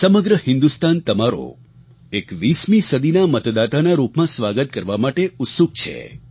સમગ્ર હિન્દુસ્તાન તમારો 21મી સદીના મતદાતાના રૂપમાં સ્વાગત કરવા માટે ઉત્સુક છે